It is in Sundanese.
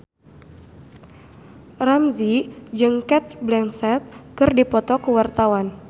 Ramzy jeung Cate Blanchett keur dipoto ku wartawan